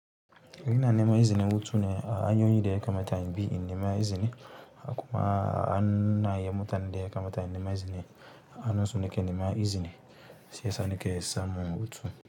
Ina nema izinin hutu ne a anyin da ya kamata in bi in nema izini. Akuma ana yamutan de kamata nema izini. Anaso nike nema izini. Si yasa nike son hutu.